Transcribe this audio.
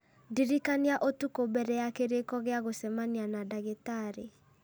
ndirikania ũtukũ mbere ya kĩrĩko gĩa gũcemania na ndagĩtarĩ